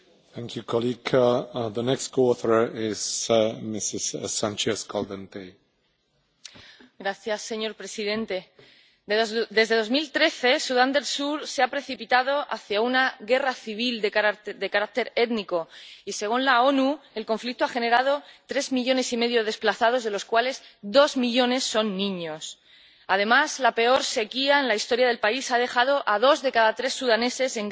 Señor presidente, desde 2013 Sudán del Sur se ha precipitado hacia una guerra civil de carácter étnico, y, según la ONU, el conflicto ha generado tres millones y medio de desplazados, de los cuales dos millones son niños. Además, la peor sequía en la historia del país ha dejado a dos de cada tres sudaneses en grave peligro de hambruna. Pero el terrible escenario labrado por la represión, la violencia étnica y los recortes de libertades,